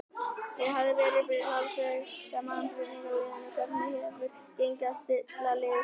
Það hafa verið talsverðar mannabreytingar á liðinu, hvernig hefur gengið að stilla liðið saman?